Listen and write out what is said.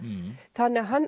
þannig að hann